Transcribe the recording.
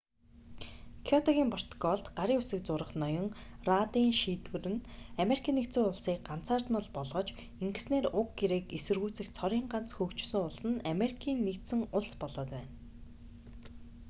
кёотогийн протоколд гарын үсэг зурах ноён раддын шийдвэр нь америкийн нэгдсэн улсыг ганцаардмал болгож ингэснээр уг гэрээг эсэргүүцэх цорын ганц хөгжсөн улс нь америкийн нэгдсэн улс болоод байна